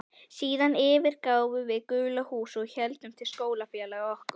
Síðan yfirgáfum við gula húsið og héldum til skólafélaga okkar.